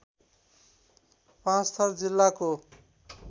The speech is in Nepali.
पाँचथर जिल्लाको